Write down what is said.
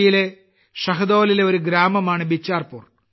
യിലെ ഷഹ്ദോളിലെ ഒരു ഗ്രാമമാണ് ബിച്ചാർപൂർ